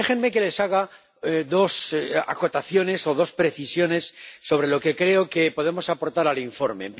Déjenme que les haga dos acotaciones o dos precisiones sobre lo que creo que podemos aportar al informe.